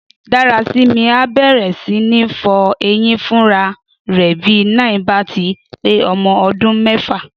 Dárasími á bẹ̀rẹ̀ sí ní fọ eyín fúnra rẹ̀ bí 9 bá ti pé ọmọ ọdún mẹ́fà